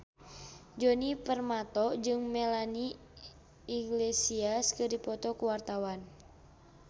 Djoni Permato jeung Melanie Iglesias keur dipoto ku wartawan